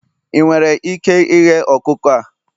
ị nwere ike ighe ọkụkọ a?